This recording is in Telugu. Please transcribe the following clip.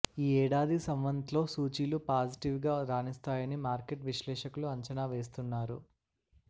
ఈ ఏడాది సంవత్లో సూచీలు పాజిటివ్గా రాణిస్తాయని మార్కెట్ విశ్లేషకులు అంచనా వేస్తున్నారు